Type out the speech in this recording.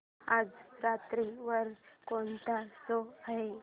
आज रात्री वर कोणता शो आहे